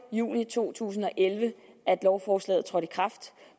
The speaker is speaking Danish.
juni to tusind og elleve at lovforslaget trådte i kraft